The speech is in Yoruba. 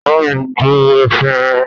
Bámi gbo efinrin!